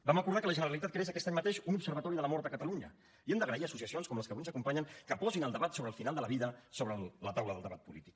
vam acordar que la generalitat creés aquest any mateix un observatori de la mort a catalunya i hem d’agrair a associacions com les que avui ens acompanyen que posin el debat sobre el final de la vida sobre la taula del debat polític